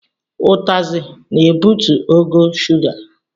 Utasị na-ebutu ogo shuga.